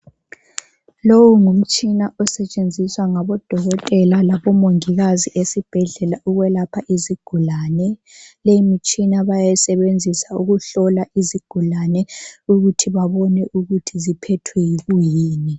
Lowu ngumtshina osetshenziswa ngabo dokotela labomongikazi esibhedlela ukwelapha izigulane .Lemitshina bayayisebenzisa ukuhlola izigulane ukuthi babone ukuthi ziphethwe yikuyini.